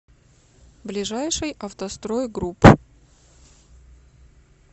ближайший автострой групп